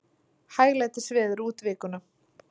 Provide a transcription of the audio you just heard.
Hæglætisveður út vikuna